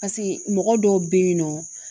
Paseke mɔgɔ dɔw be yen nɔ